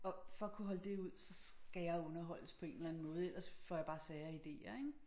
Og for at kunne holde det ud så skal jeg underholdes på en eller anden måde ellers får jeg bare sære ideer ik